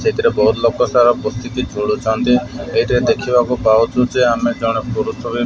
ଏଥିରେ ବହୁତ୍ ଲୋକ ତାର ପୋଥିଟି ଖୋଲୁଛନ୍ତି ଏଇଠି ଦେଖିବାକୁ ପାଉଛୁ ଯେ ଆମେ ଜଣେ ପୁରୁଷ ଭି --